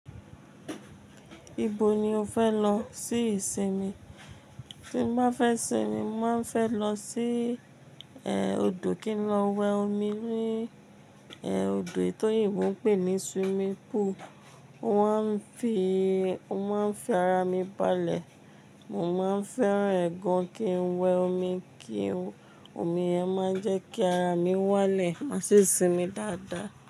Ibo ni o fẹ́ lọ sí ìsinmi? Tí ń bá fẹ́ sinmi, mo máa fẹ́ lọ sí, eh, odò, kí n lọ wẹ́ omi ní, eh, odò ètò yìí mo ń pè ní swimming pool. Mo mọ ń fi, mo mọ ń fi ara mi balẹ̀. Mo máa ń fẹ́ràn ẹ̀ gan, kí n wẹ́ omi, kí omi yẹn máa jẹ́ kí ara mi wálẹ̀, máa sì sinmi dáadáa.